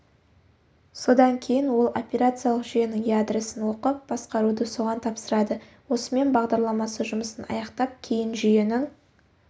содан кейін ол операциялық жүйенің ядросын оқып басқаруды соған тапсырады осымен бағдарламасы жұмысын аяқтап кейін жүйенің